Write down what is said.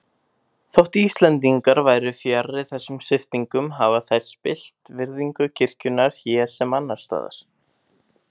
Þótt Íslendingar væru fjarri þessum sviptingum hafa þær spillt virðingu kirkjunnar hér sem annars staðar.